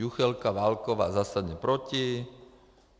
Juchelka, Válková zásadně proti.